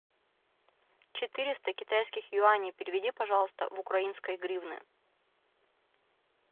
четыреста китайских юаней переведи пожалуйста в украинские гривны